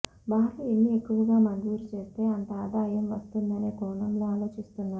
బారులు ఎన్ని ఎక్కువగా మంజూరు చేస్తే అంత ఆదాయం వస్తుందనే కోణంలో ఆలోచిస్తున్నారు